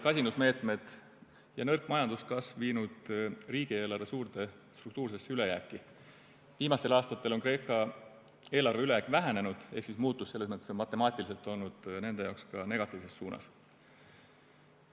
Kasinusmeetmed ja nõrk majanduskasv olid viinud riigieelarve suurde struktuursesse ülejääki, viimastel aastatel on Kreeka eelarve ülejääk vähenenud ehk muutus selles mõttes on matemaatiliselt olnud nende jaoks ka negatiivses suunas.